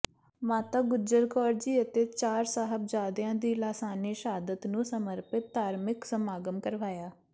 ਮਾਤਾ ਗੁਜਰ ਕੌਰ ਜੀ ਅਤੇ ਚਾਰ ਸਾਹਿਬਜਾਦਿਆ ਦੀ ਲਾਸਾਨੀ ਸ਼ਹਾਦਤ ਨੂੰ ਸਮਰਪਿਤ ਧਾਰਮਿਕ ਸਮਾਗਮ ਕਰਵਾਇਆ